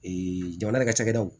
jamana ka cakɛdaw